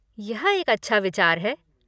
यह एक अच्छा विचार है।